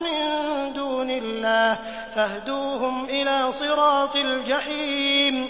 مِن دُونِ اللَّهِ فَاهْدُوهُمْ إِلَىٰ صِرَاطِ الْجَحِيمِ